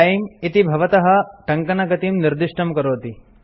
तिमे - इति भवतः टङ्कनगतिं निर्दिष्टं करोति